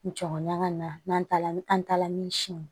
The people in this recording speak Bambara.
Jɔn ŋana n'an taara ni an taala min siyɛn